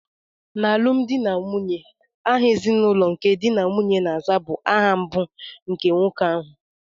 N'alụmdi na nwunye, aha ezinụlọ nke di na nwunye na-aza bụ aha mbụ nke nwoke ahụ.